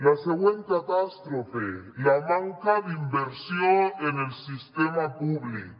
la següent catàstrofe la manca d’inversió en el sistema públic